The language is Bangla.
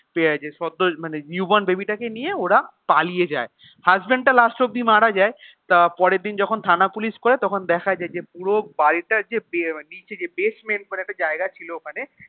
মানে new born baby টাকে নিয়ে ওরা পালিয়ে যায় husband টা last অব্দি মারা যায়. তা পরের দিন যখন থানা পুলিশ করে তখন দেখায় যায় যে পুরো বাড়িটার যে ~ নিচে যে basement মানে একটা জায়গা ছিল ওখানে